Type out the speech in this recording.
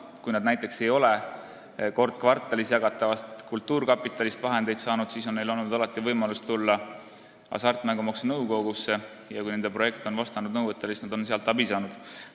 Kui nad näiteks ei ole kord kvartalis jagatavast kultuurkapitalist vahendeid saanud, siis on neil olnud alati võimalus tulla hasartmängumaksu nõukogusse ja kui nende projekt on vastanud nõuetele, siis nad on sealt abi saanud.